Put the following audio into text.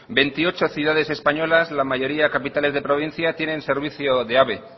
veintiocho ciudades españolas la mayoría capitales de provincia tienen servicio de ave